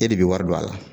E de bɛ wari don a la